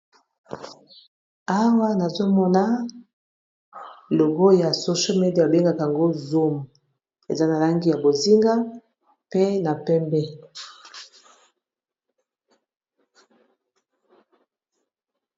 Awa nazomona logo ya social media ba bengaka yango zoum eza na langi ya bozinga pe na pembe.